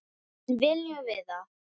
En viljum við það?